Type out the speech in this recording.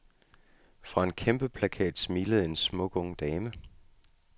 Fra en kæmpeplakat smilede en smuk, ung dame.